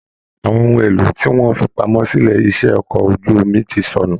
Àwọn ohùn èlò tí wọn fí pamọ́ silé iṣẹ okọ̀ ojú omi ti sọnù.